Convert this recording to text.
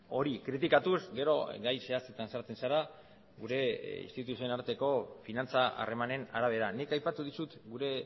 hori kritikatuz gero gai zehatzetan sartzen zara gure instituzioen arteko finantza harremanen arabera nik aipatu dizut gure